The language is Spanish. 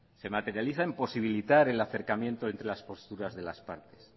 se materializa en posibilitar el acercamiento entre las posturas de las partes